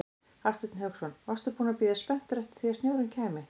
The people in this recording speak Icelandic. Hafsteinn Hauksson: Varstu búinn að bíða spenntur eftir því að snjórinn kæmi?